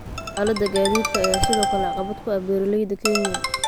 Xaaladda gaadiidka ayaa sidoo kale caqabad ku ah beeraleyda Kenya.